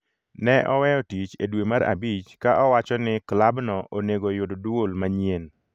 ne oweyo tich e dwe mar abich ka owacho ni klabno onego yud dwol manyien.